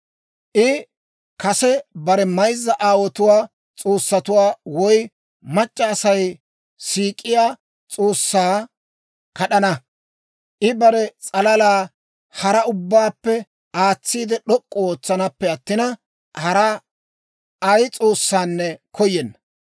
I kase bare mayzza aawotuwaa s'oossatuwaa, woy mac'c'a Asay siik'iyaa s'oossaa kad'ana; I bare s'alala hara ubbaappe aatsiide d'ok'k'u ootsanaappe attina, hara ay s'oossaanne koyenna.